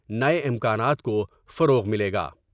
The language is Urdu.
نئے امکانات کوفروغ ملے گا ۔